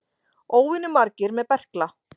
Óvenju margir með berkla